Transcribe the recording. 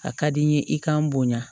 A ka di n ye i kan boya